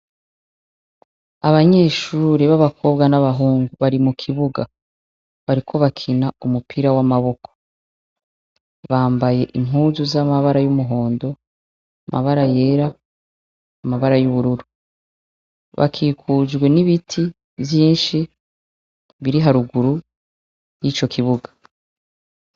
abanyeshure b'abakobwa n'abahungu bari mukibuga bariko bakina umupira wamaboko bambaye impuzu z'amabara y'umuhondo amabara yera amabara yubururu bakikujwe n'ibititi vyinshi biri haruguru yico kibuga